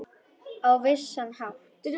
Á vissan hátt.